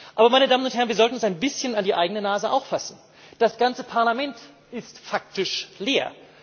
Aber, meine Damen und Herren, wir sollten uns auch ein bisschen an die eigene Nase fassen Das ganze Parlament ist faktisch leer!